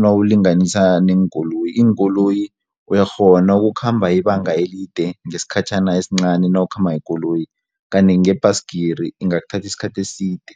nawulinganisa neenkoloyi iinkoloyi uyakghona ukukhamba ibanga elide ngesikhatjhana esincani nawukhamba ngekoloyi kanti ngebhayisigiri ingakuthatha isikhathi eside.